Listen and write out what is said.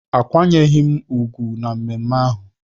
Akwanyeghị m ugwu na mmemme ahụ